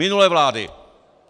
Minulé vlády!